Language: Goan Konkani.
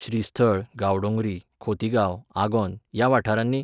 श्रीस्थळ, गांवडोंगरी, खोतीगांव, आगोंद, ह्या वाठारांनी